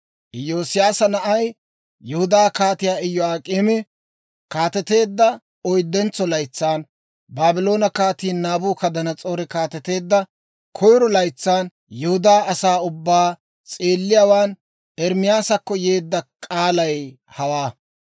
Iyoosiyaasa na'ay, Yihudaa Kaatii Iyo'ak'eemi kaateteedda oyddentso laytsan, Baabloone Kaatii Naabukadanas'oori kaateteedda koyiro laytsan, Yihudaa asaa ubbaa s'eelliyaawaan Ermaasakko yeedda k'aalay hawaa.